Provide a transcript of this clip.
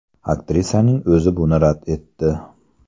Aktrisaning o‘zi buni rad etdi.